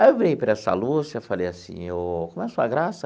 Aí eu virei para essa Lúcia e falei assim, como é a sua graça?